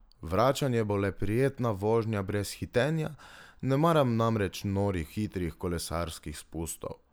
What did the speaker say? Vračanje bo le prijetna vožnja brez hitenja, ne maram namreč norih hitrih kolesarskih spustov.